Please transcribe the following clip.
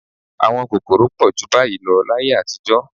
Àwọn kòkòrò pọ̀ jù báyìí lọ láyé àtijọ́